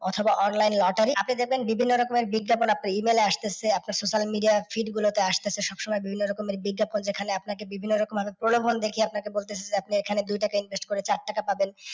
অথবা online lottery আপনি দেখবেন বিভিন্ন রকমের বিজ্ঞাপন আপনার E mail এ আসতেছে, আপনার social media এর feed গুলোতে আসতেছে সব সময় বিভিন্ন রকমের বিজ্ঞাপন। এখানে আপনাকে বিভিন্ন রকম ভাবে প্রলভন দেখিয়ে আপনাকে বলতেছে যে এই খানে দুই টাকা invest করে চার টাকা পাবেন।